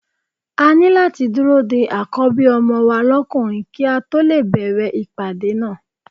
A ní láti dúró de Àkọ́bí ọmọ wa lókùnrin kí a tó lè bẹ̀rẹ̀ ìpàdé náà.